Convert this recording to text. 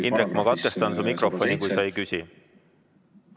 Indrek, ma katkestan su mikrofoni, kui sa ei küsi.